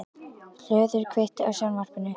Hlöður, kveiktu á sjónvarpinu.